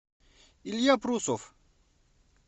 илья прусов